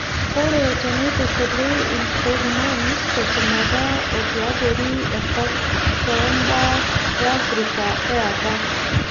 ore teneitushuli inkurman teshumata o tiabori enkop too baa e Africa e apa.